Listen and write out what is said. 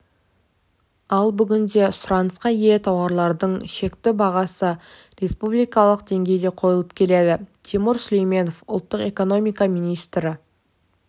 ал бүгінде сұранысқа ие тауарлардың шекті бағасы республикалық деңгейде қойылып келеді тимур сүлейменов ұлттық экономика министрі